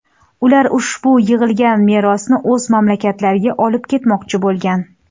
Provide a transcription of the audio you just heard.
Ular ushbu yig‘ilgan merosni o‘z mamlakatlariga olib ketmoqchi bo‘lgan.